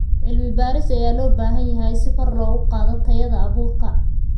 Cilmi baaris ayaa loo baahan yahay si kor loogu qaado tayada abuurka.